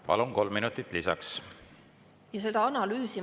Palun, kolm minutit lisaks!